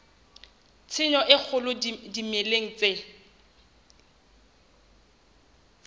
tshenyo e kgolo dimeleng tse